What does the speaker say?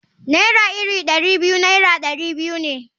Naira iri Dari biyu Naira dari biyu ne.